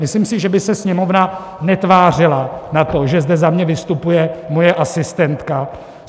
Myslím si, že by se Sněmovna netvářila na to, že zde za mě vystupuje moje asistentka.